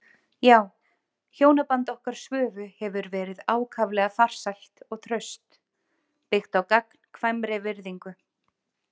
Já, hjónaband okkar Svövu hefur verið ákaflega farsælt og traust, byggt á gagnkvæmri virðingu.